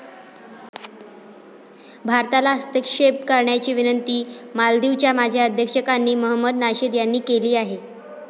भारताला हस्तक्षेप करण्याची विनंती मालदीवच्या माजी अध्यक्षांनी महमद नाशीद यांनी केली आहे.